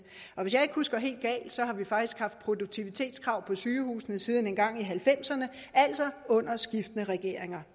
hvis jeg ikke husker helt galt har vi faktisk haft produktivitetskrav på sygehusene siden engang i nitten halvfemserne altså under skiftende regeringer